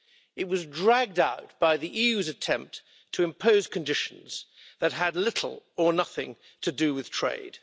It was dragged out by the EU's attempt to impose conditions that had little or nothing to do with trade.